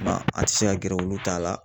O kuma an tɛ se ka gɛrɛ olu t'a la.